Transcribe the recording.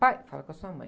Pai? Fala com a sua mãe.